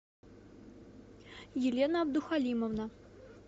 елена абдухалимовна